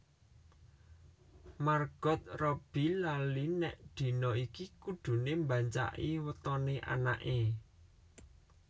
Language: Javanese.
Margot Robbbie lali nek dina iki kudune mbancaki wetone anake